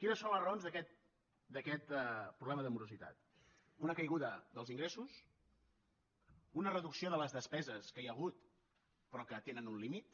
quines són les raons d’aquest problema de morositat una caiguda dels ingressos una reducció de les despeses que hi ha hagut però que tenen un límit